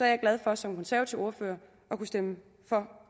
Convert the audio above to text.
jeg glad for som konservativ ordfører at kunne stemme for